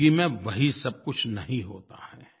ज़िंदगी में वही सब कुछ नहीं होता है